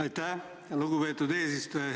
Aitäh, lugupeetud eesistuja!